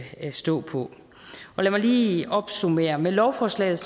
stå på lad mig lige opsummere med lovforslaget